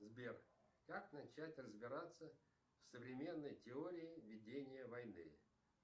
сбер как начать разбираться в современной теории ведения войны